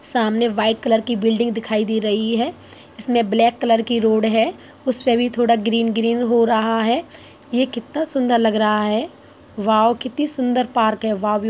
सामने white colour की building दिखाई दे रही है। इसमें ब्लैक कलर की रोड है। उसपे भी थोड़ा ग्रीन - ग्रीन हो रहा है ये कितना सुन्दर लग रहा है वाव कितनी सुन्दर पार्क है वाव |